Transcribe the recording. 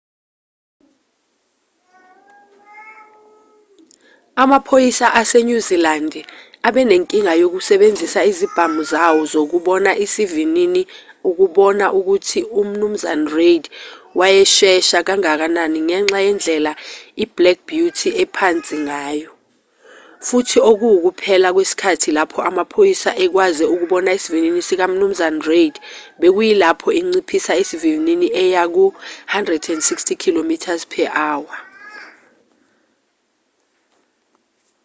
amaphoyisa asenyuzilandi abenenkinga yokusebenzisa izibhamu zawo zokubona isivinini ukubona ukuthi umnu reid wayeshesha kangakanani ngenxa yendlela i-black beauty ephansi ngayo futhi okuwukuphela kwesikhathi lapho amaphoyisa ekwaze ukubona isivinini sikamnu reid bekuyilapho enciphisa isivinini eya ku-160km/h